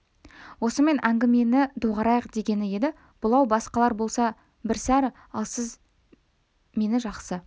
осымен әңгімені доғарайық дегені еді бұл ау басқалар болса бір сәрі ал сіз сіз мені жақсы